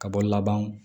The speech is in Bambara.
Ka bɔ laban